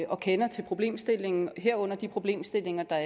og kender til problemstillingen herunder de problemstillinger der